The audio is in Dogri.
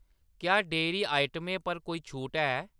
क्या डेह्‌री आइटमें पर कोई छूट ऐ ?